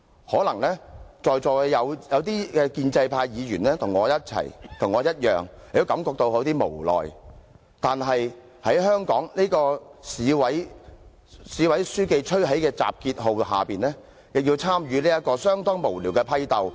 可能在座有些建制派議員與我一樣，也感到有點無奈，但在香港的市委書記吹起集結號下，也要參與這場相當無聊的批鬥。